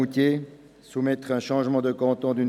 Tobler, Sie haben das Wort.